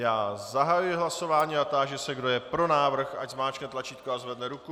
Já zahajuji hlasování a táži se, kdo je pro návrh, ať zmáčkne tlačítko a zvedne ruku.